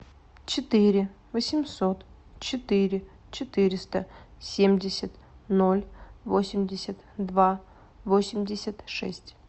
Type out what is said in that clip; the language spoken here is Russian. четыре восемьсот четыре четыреста семьдесят ноль восемьдесят два восемьдесят шесть